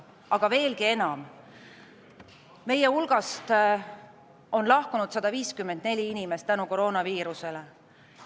Aga veelgi enam, meie hulgast on lahkunud 154 inimest koroonaviiruse tõttu.